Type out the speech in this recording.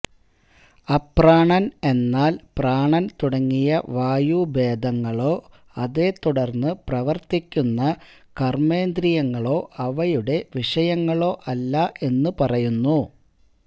അപ്രാണന് എന്നാല് പ്രാണന് തുടങ്ങിയ വായുഭേദങ്ങളോ അതേത്തുടര്ന്ന് പ്രവര്ത്തിക്കുന്ന കര്മ്മേന്ദ്രിയങ്ങളോ അവയുടെ വിഷയങ്ങളോ അല്ല എന്ന് പറയുന്നു